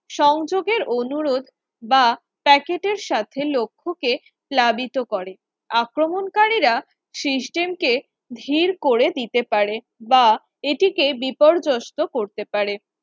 সংযোগের অনুরোধ বা Packet এর সাথে লক্ষ্যকে প্লাবিত করে আক্রমণকারীরা system কে ধীর করে দিতে পারে, বা এটিকে বিপর্যস্ত করতে পারে